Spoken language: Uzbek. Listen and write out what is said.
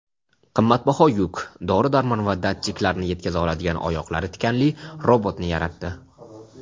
qimmatbaho yuk – dori-darmon va datchiklarni yetkaza oladigan oyoqlari tikanli robotni yaratdi.